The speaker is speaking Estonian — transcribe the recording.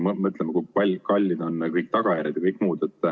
Ma pean silmas, kui kallid on kõik tagajärjed ja kõik muu.